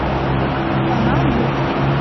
канал мульт